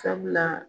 Sabula